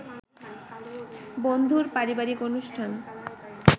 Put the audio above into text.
বন্ধুর পারিবারিক অনুষ্ঠান